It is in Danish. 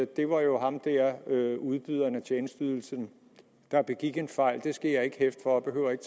det var jo ham der udbyderen af tjenesteydelsen der begik en fejl det skal jeg ikke hæfte for og behøver ikke